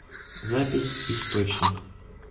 запись источник